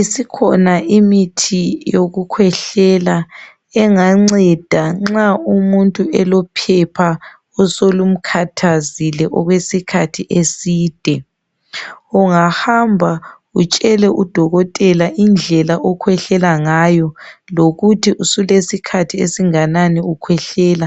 Isikhona imithi yokukhwehlela enganceda nxa umuntu elophepha osolumkhathazile okwesikhathi eside. Ungahamba utshele udokotela indlela okhwehlela ngayo lokuthi sulesikhathi esinganani ukhwehlela